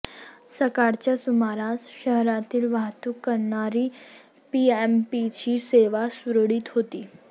सकाळच्या सुमारास शहरातील वाहतूक करणारी पीएमपीची सेवा सुरळीत होती